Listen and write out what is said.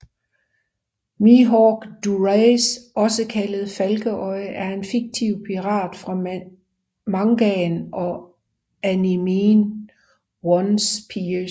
Mihawk Dulacre også kaldet Falkeøje er en fiktiv pirat fra mangaen og animeen One Piece